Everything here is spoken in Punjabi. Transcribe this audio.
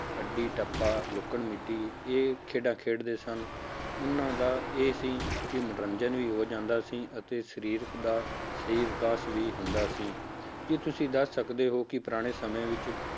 ਅੱਡੀ ਟੱਪਾ ਲੁਕਣ ਮੀਟੀ, ਇਹ ਖੇਡਾਂ ਖੇਡਦੇ ਸਨ, ਉਹਨਾਂ ਦਾ ਇਹ ਸੀ ਕਿ ਮਨੋਰੰਜਨ ਵੀ ਹੋ ਜਾਂਦਾ ਸੀ ਅਤੇ ਸਰੀਰ ਦਾ ਸਰੀਰਕ ਵਿਕਾਸ ਵੀ ਹੁੰਦਾ ਸੀ, ਕੀ ਤੁਸੀਂ ਦੱਸ ਸਕਦੇ ਹੋ ਕਿ ਪੁਰਾਣੇ ਸਮੇਂ ਵਿੱਚ